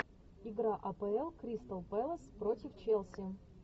игра апл кристал пэлас против челси